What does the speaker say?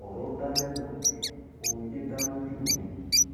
ọrọ dà lẹnu mi omijé dà lójú mi